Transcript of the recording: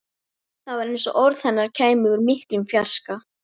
Það var eins og orð hennar kæmu úr miklum fjarska.